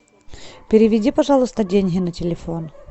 переведи пожалуйста деньги на телефон